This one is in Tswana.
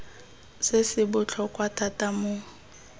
se se botlhokwa thata mo